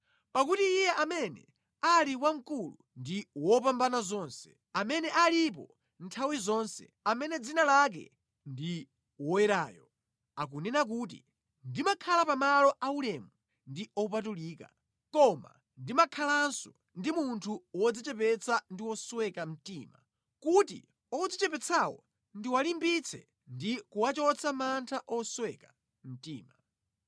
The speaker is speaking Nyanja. Pakuti Iye amene ali Wamkulu ndi Wopambanazonse, amene alipo nthawi zonse, amene dzina lake ndi Woyerayo, akunena kuti, “Ndimakhala pamalo aulemu ndi opatulika, koma ndimakhalanso ndi munthu wodzichepetsa ndi wosweka mtima kuti odzichepetsawo ndiwalimbitse ndi kuwachotsa mantha osweka mtima.